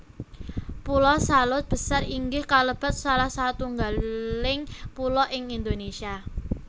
Pulo Salaut Besar inggih kalebet salah satunggaling pulo ing Indonesia